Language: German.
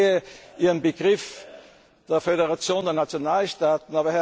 des Nationalismus sehen. Ich verstehe Ihren Begriff der